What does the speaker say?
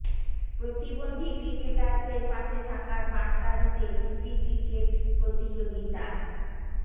প্রতিবন্ধী ক্রিকেটারদের পাশে থাকার বার্তা দিতে প্রীতি ক্রিকেট প্রতিযোগিতা